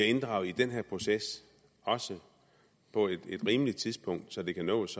inddraget i den her proces på et rimeligt tidspunkt så det kan nås